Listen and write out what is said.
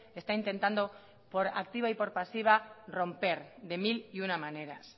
está intentando por activa y por pasiva romper de mil y una maneras